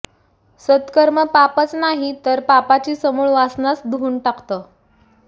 सत्कर्म पापच नाही तर पापाची समूळ वासनाच धुऊन टाकतं